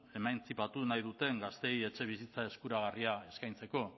emantzipatu nahi duten gazteei etxebizitza eskuragarriak eskaintzeko